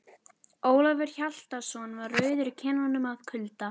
Ólafur Hjaltason var rauður í kinnum af kulda.